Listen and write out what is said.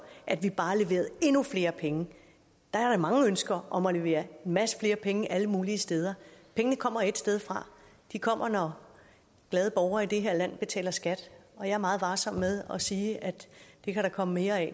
at vi bare leverer endnu flere penge der er da mange ønsker om at levere en masse flere penge alle mulige steder pengene kommer et sted fra de kommer når glade borgere i det her land betaler skat og jeg er meget varsom med at sige at det kan der komme mere af